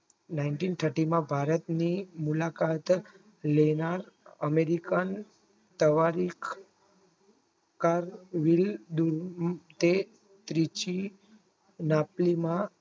Nineteen thirty માં ભારતનું મુલાકાત લેવા અમેરિકન તવારીખ ક અમ તે ત્રીજી માટીમાં